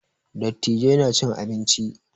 Dattijai na cin abinci